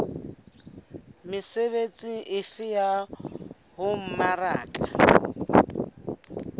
mesebetsi efe ya ho mmaraka